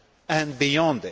and beyond.